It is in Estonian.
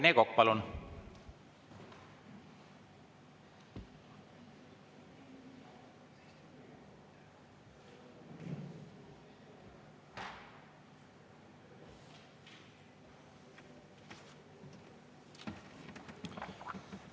Rene Kokk, palun!